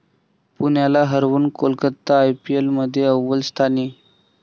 पुण्याला हरवून कोलकाता आयपीएलमध्ये अव्वल स्थानी